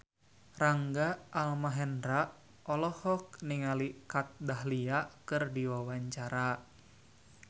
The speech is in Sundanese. Rangga Almahendra olohok ningali Kat Dahlia keur diwawancara